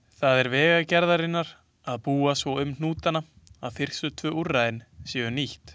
Það er Vegagerðarinnar að búa svo um hnútana að fyrstu tvö úrræðin séu nýtt.